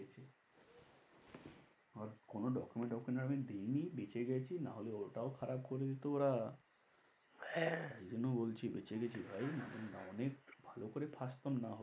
কোনো document document আমি দিইনি বেঁচে গেছি না হলে ওটাও খারাপ করে দিতো ওরা হ্যাঁ, এই জন্য বলছি বেঁচে গেছি ভাই অনেক ভালো করে ফাঁসতাম না হলে~